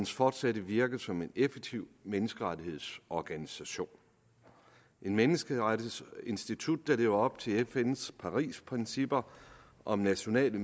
fortsatte virke som en effektiv menneskerettighedsorganisation et menneskerettighedsinstitut der lever op til fns parisprincipper om nationale